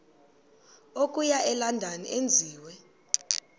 okuya elondon enziwe